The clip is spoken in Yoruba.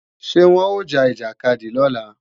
Ṣé wọn ó ja ìjàkadì lọ́la?